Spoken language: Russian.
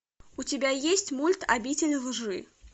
у тебя есть мульт обитель лжи